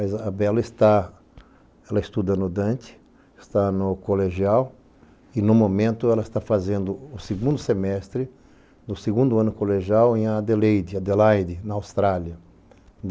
A Isabela está, ela estuda no Dante, está no colegial e no momento ela está fazendo o segundo semestre do segundo ano colegial em Adeleide, Adelaide, na Austrália.